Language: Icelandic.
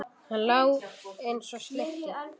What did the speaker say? Hann lá eins og slytti.